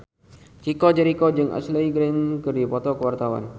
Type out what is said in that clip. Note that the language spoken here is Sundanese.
Chico Jericho jeung Ashley Greene keur dipoto ku wartawan